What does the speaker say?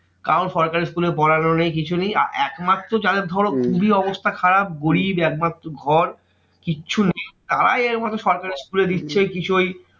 কারণ সরকারি school এ পড়ানো নেই কিছু নেই। একমাত্র যাদের ধরো খুবই অবস্থা খারাপ গরিব একমাত্র ঘর কিচ্ছু নেই তারাই একমাত্র সরকারি school এ দিচ্ছে। কিছু ওই